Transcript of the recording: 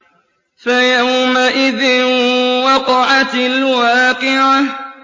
فَيَوْمَئِذٍ وَقَعَتِ الْوَاقِعَةُ